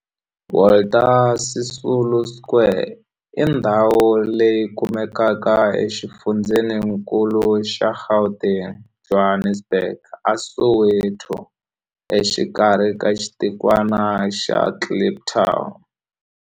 Walter Sisulu Square i ndhawu leyi kumekaka exifundzheni-nkulu xa Gauteng, Johannesburg, a Soweto, exikarhi ka xitikwana xa Kliptown.